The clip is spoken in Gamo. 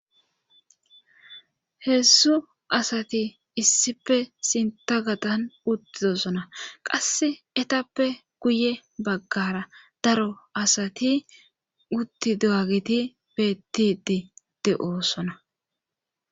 Heedzdzuu asati issipe sinta gadan utidosona qasse etappe guye baggara daro asati utti dowagiti beettidi de7oosona.